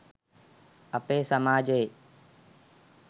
අපේ සමාජයේ